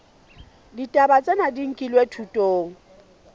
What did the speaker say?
ditaba tsena di nkilwe thutong